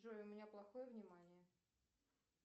джой у меня плохое внимание